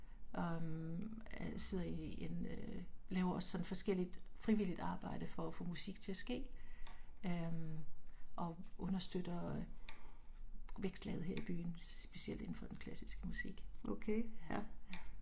Og øh sidder i en laver også sådan forskelligt frivilligt arbejde for at få musik til at ske øh og understøtter vækstlaget her i byen specielt indenfor den klassiske musik